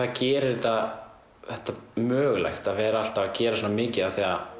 gerir þetta þetta mögulegt að vera alltaf að gera svona mikið af því að